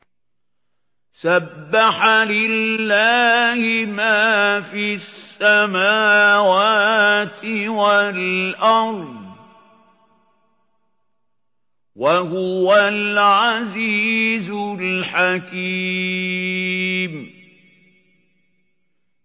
سَبَّحَ لِلَّهِ مَا فِي السَّمَاوَاتِ وَالْأَرْضِ ۖ وَهُوَ الْعَزِيزُ الْحَكِيمُ